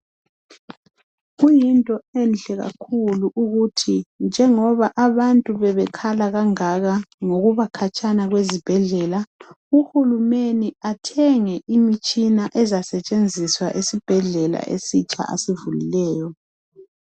Kuyinto enhle kakhulu ukuthi njengoba abantu bebekhala kangaka ngokuba khatshana kwezibhedlela, uhulumeni athenge imitshina ezasetshenziswa esibhedlela esitsha asivulileyo.